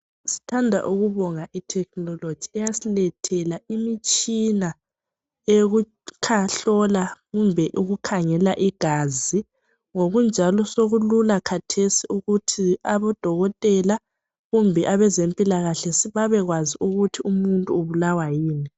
sithanda ukubonga i technology imitshina eyokuhlola kumbe ukukhangela igazi ngokunjalo sokulula khathesi ukuthi abo dokotela kumbe abezempilakahle sibekwazi ukuthi umutnu ubulawa yikuyini